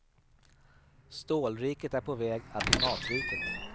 Stålriket är på väg att bli matriket.